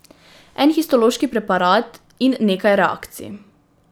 En histološki preparat in nekaj reakcij.